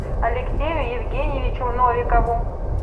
алексею евгеньевичу новикову